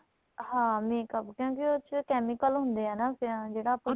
ਹਾਂ makeup ਕਿਉਂਕਿ ਉਹ ਚ chemical ਹੁੰਦੇ ਏ ਨਾ ਜਿਹੜਾ ਆਪਾਂ